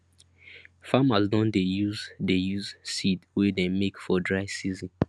farmers don dey use dey use seed wey dem make for dry season